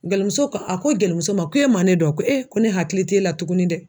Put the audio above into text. Gelimuso ko a ko gelimuso ma ko e ma ne dɔn wa ko e ko ne hakili t'e la tuguni dɛ.